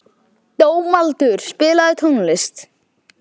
Dómaldur, spilaðu tónlist.